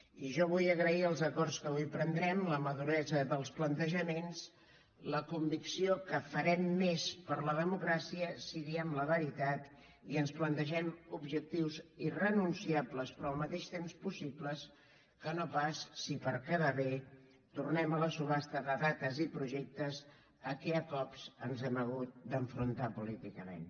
i jo vull agrair els acords que avui prendrem la maduresa dels plantejaments la convicció que farem més per la democràcia si diem la veritat i ens plantegem objectius irrenunciables però al mateix temps possibles que no pas si per quedar bé tornem a la subhasta de dates i projectes a què a cops ens hem hagut d’enfrontar políticament